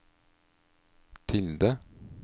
tilde